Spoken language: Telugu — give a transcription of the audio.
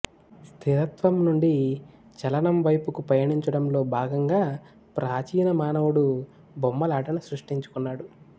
స్థిరత్వం నుండి చలనం వైపుకు పయనించడంలో భాగంగా ప్రాచీన మానవుడు బొమ్మలాటను సృష్టించుకున్నాడు